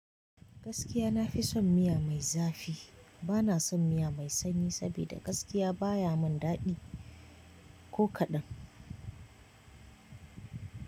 Gaskiya nafi son miya mai zafi bana son miya mai sanyi saboda gaskiya baya mun daɗi ko kaɗan.